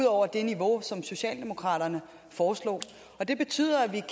over det niveau som socialdemokraterne foreslog det betyder at vi